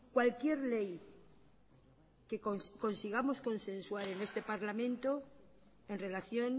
cualquier ley que consigamos consensuar en este parlamento en relación